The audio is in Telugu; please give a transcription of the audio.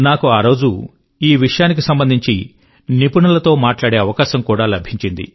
నాకు ఆరోజు ఈ విషయానికి సంబంధించిన ఎక్స్పెర్ట్స్ తో మాట్లాడే అవకాశం కూడా లభించింది